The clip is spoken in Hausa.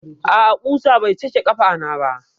A'a, ƙusa bai cake ƙafana ba.